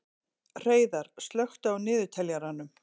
Hreiðar, slökktu á niðurteljaranum.